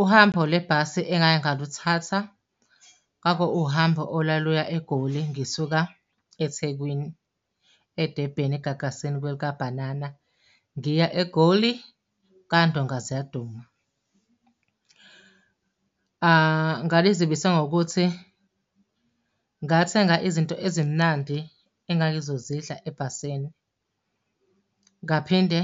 Uhambo lwebhasi engake ngaluthatha kwaku uhambo olwaluya eGoli ngisuka eThekwini, eDebheni egagasini kwelikabhanana, ngiya eGoli, kwandonga ziyaduma. Ngalizibisa ngokuthi ngathenga izinto ezimnandi engangizozidla ebhasini, ngaphinde